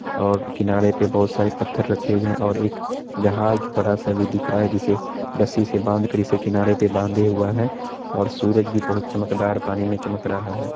और किनारे पे बहुत सारे पत्थर रखे हुए हैं और एक जहाज बड़ा-सा भी दिख रहा है जिसे रस्सी से बांध कर इसे किनारे पे बांधे हुआ है| और सूरज भी बहुत चमकदार पानी में चमक रहा है।